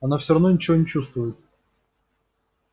она всё равно ничего не чувствует